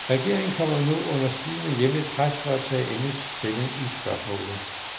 Regeringen kommer nu under stigende hjemligt pres for at tage endelig stilling i spørgsmålet.